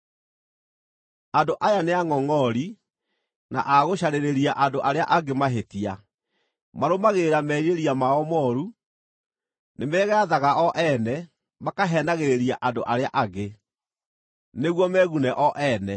Andũ aya nĩangʼongʼori, na a gũcarĩria andũ arĩa angĩ mahĩtia; marũmagĩrĩra merirĩria mao mooru; nĩmegaathaga o ene, na makaheenagĩrĩria andũ arĩa angĩ, nĩguo megune o ene.